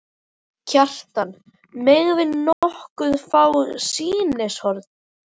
Kjartan: Megum við nokkuð fá sýnishorn?